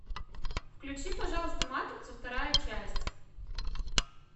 включи пожалуйста матрицу вторая часть